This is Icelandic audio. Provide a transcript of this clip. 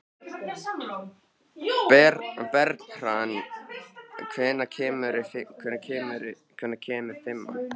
Bernharð, hvenær kemur fimman?